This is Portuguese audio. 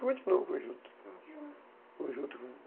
continuo com o juta, com juta.